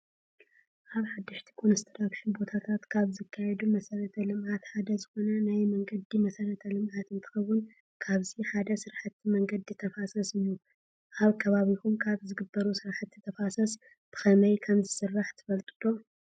ኣብ ሓደሽቲ ኮንስትራክሽን ቦታታትን ካብ ዝካየዱ መሰረተ ልምዓት ሓደ ዝኾነ ናይ መንገዲ መሰረተ ልምዓት እንትኾውን ካብዚ ሓደ ስራሕቲ መንገዲ ተፋሰስ እዩ። ኣብ ከባቢኹም ካብ ዝግበሩ ስራሕቲ ተፋሰሳት ብኸመይ ከም ዝስራሕ ትፈልጡ ዶ?